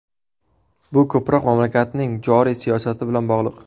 Bu ko‘proq mamlakatning joriy siyosati bilan bog‘liq.